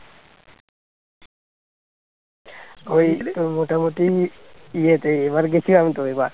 তোর মোটামুটি ইয়ে তে এবার গেছিলাম তো এবার